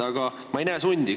Aga ma ei näe sundi.